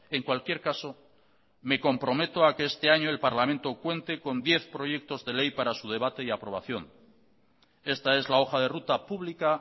en cualquier caso me comprometo a que este año el parlamento cuente con diez proyectos de ley para su debate y aprobación esta es la hoja de ruta pública